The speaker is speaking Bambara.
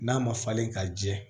N'a ma falen ka jɛ